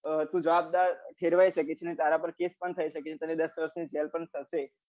તું જવાબદાર ખેડવાઈ શકે છે અને તારા પર કેએસએ પણ થઇ શકે છે અને દાસ વરસ ની જેલ પણ થશે